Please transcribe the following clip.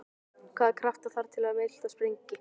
Hvaða krafta þarf til að miltað springi?